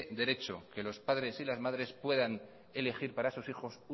derecho que los padres y las madres puedan elegir para sus hijos